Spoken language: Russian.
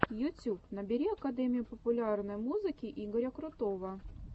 ютюб набери академию популярной музыки игоря крутого